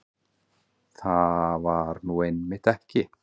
Það var nú einmitt ekki